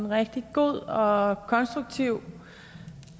rigtig gode og konstruktive